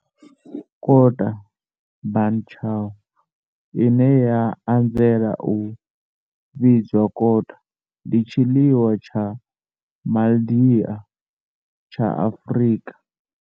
Kota, bunny chow, ine ya anzela u vhidzwa kota, ndi tshiḽiwa tsha Mandia tsha Afrika.